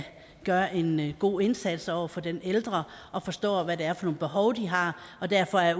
gøre en god indsats over for den ældre og forstår hvad det er for nogle behov de har og derfor er